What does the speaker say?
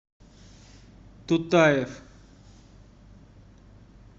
тутаев